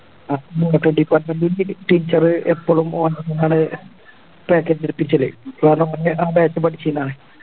Department ൻറെ Teacher എപ്പളും